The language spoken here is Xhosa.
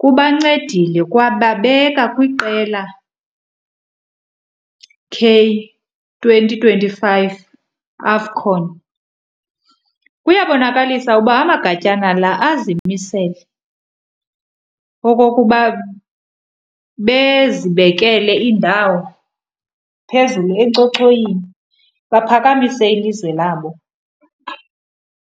kubancedile kwababeka kwiqela K twenty twenty-five AFCON. Kuyabonakalisa uba amagatyana la azimisele okokuba bezibekele indawo phezulu enkcochoyini baphakamise ilizwe labo.